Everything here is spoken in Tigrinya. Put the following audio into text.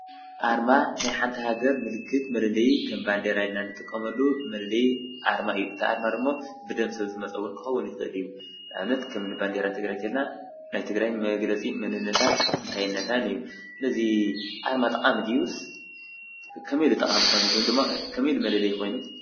ኣርማ ናይ ሓንቲ ሃገር ምልክት መለለዪ ከም ባንዲራ ኢልና ንጥቀመሉ መለለዪ ኣርማ እዩ እቲ ኣርማ ድማ ብደም ሰብ ዝመፅ እዉን ክከዉን ይክእል እዩ ንኣብነት ከምኒ ባንዴራ ትግራይ እንተ ኢልና ናይ ትግራይ መግለፂ መንነታት እንታይነታን እዩ እዚ ኣርማ ጠቃሚ ድዩስ ከመይ ኢሉ ጠቃሚ ኮይኑ ወይ ድማ ከመይ ኢሉ መለለዪ ኮይኑ ?